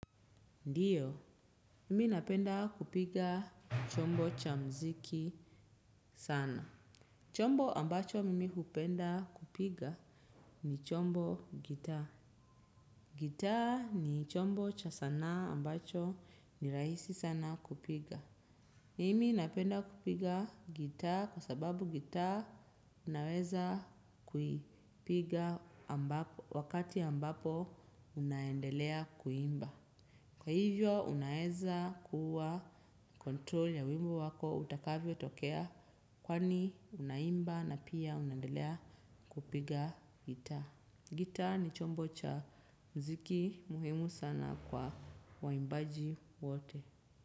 Ndiyo, mimi napenda kupiga chombo cha mziki sana. Chombo ambacho mimi hupenda kupiga ni chombo gitaa. Gitaa ni chombo cha sanaa ambacho ni rahisi sana kupiga. Mimi napenda kupiga gita kwa sababu gita unaweza kuipiga wakati ambapo unaendelea kuimba. Kwa hivyo unaeza kuwa kontrol ya wimbo wako utakavyo tokea kwani unaimba na pia unaendelea kupiga gita. Gita ni chombo cha mziki muhimu sana kwa waimbaji wote.